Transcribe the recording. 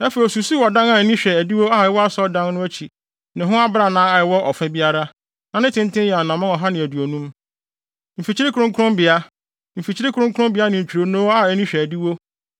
Afei osusuw ɔdan a ani hwɛ adiwo a ɛwɔ asɔredan no akyi ne ho abrannaa a ɛwɔ ɔfa biara; na ne tenten yɛ anammɔn ɔha ne aduonum. Mfikyiri kronkronbea, mfimfini kronkronbea ne ntwironoo a ani hwɛ adiwo,